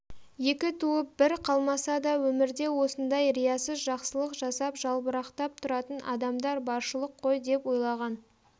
екі туып бірі қалмаса да өмірде осындай риясыз жақсылық жасап жалбырақтап тұратын адамдар баршылық қой деп ойлаған